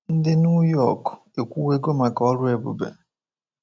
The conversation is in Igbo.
Ndị New York ekwuwego maka ọrụ ebube.